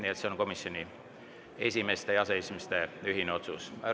See on komisjonide esimeeste ja aseesimeeste ühine otsus.